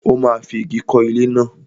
Ó máa fi ìgi kọ́ ilé náà.